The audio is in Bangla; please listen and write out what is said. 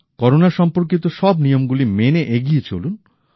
করোনা সম্পর্কিত সব নিয়মগুলি মেনে এগিয়ে চলুন